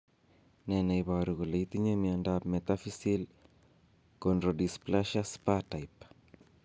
Ne ne iporu kole itinye miondap Metaphyseal chondrodysplasia Spahr type?